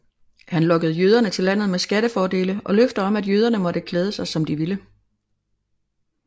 Han lokkede jøderne til landet med skattefordele og løfter om at jøderne måtte klæde sig som de ville